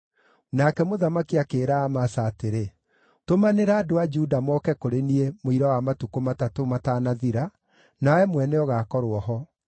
Nake mũthamaki akĩĩra Amasa atĩrĩ, “Tũmanĩra andũ a Juda moke kũrĩ niĩ mũira wa matukũ matatũ mataanathira, nawe mwene ũgaakorwo ho.”